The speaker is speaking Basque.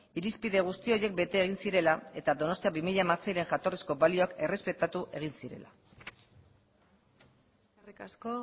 irizpide guzti horiek bete egin zirela eta donostia bi mila hamaseiren jatorrizko balioak errespetatu egin zirela eskerrik asko